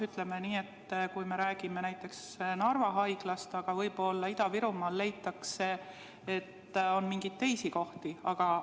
Ütleme nii, et me räägime näiteks Narva Haiglast, aga võib-olla Ida-Virumaal leitakse, et on mingeid teisi rahastamise kohti.